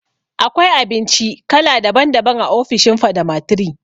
Akwai abinci kala daban daban a ofishin Fadama lll